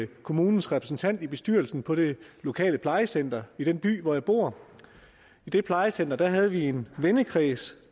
kommunens repræsentant i bestyrelsen på det lokale plejecenter i den by hvor jeg bor i det plejecenter havde vi en vennekreds